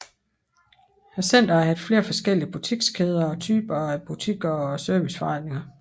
Centret har haft flere forskellige butikskæder og typer af butikker og serviceforretninger